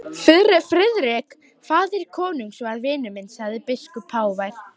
Friðrik faðir konungs var vinur minn, sagði biskup hávær.